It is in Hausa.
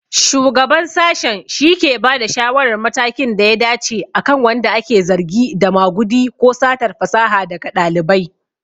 Shugaban Sashen shike bada shawarar matakin da ya dace akan wanda ake zargi da magudi ko satar fasaha daga ɗalibai.